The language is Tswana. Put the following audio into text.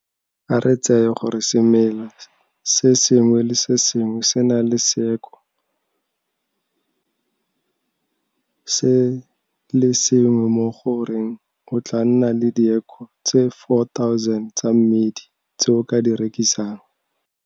A re tseye gore semela se sengwe le se sengwe se na le seako se le sengwe mo go reng o tlaa nna le diako tse 4 000 tsa mmidi tse o ka di rekisang.